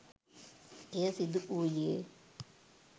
එය සිදු වූයේ